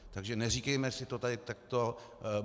Takže neříkejme si to tady takto.